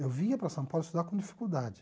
Eu vinha para São Paulo estudar com dificuldade.